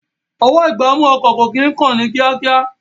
Ọwọ́-ìgbámú ọkọ̀ kò kí ń kán ní kíákíá